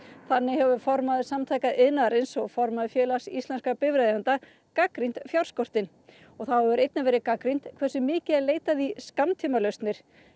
þannig hefur formaður Samtaka iðnaðarins og formaður Félags íslenskra bifreiðaeigenda gagnrýnt fjárskortinn og þá hefur einnig verið gagnrýnt hversu mikið er leitað í skammtímalausnir